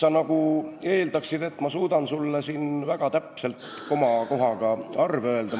Sa nagu eeldaksid, et ma suudan sulle siin väga täpselt komakohaga arve öelda.